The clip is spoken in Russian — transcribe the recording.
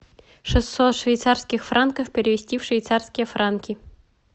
шестьсот швейцарских франков перевести в швейцарские франки